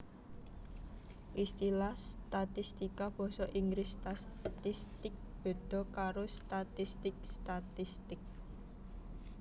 Istilah statistika basa Inggris statistics béda karo statistik statistic